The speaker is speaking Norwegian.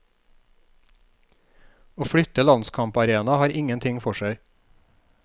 Å flytte landskamparena har ingenting for seg.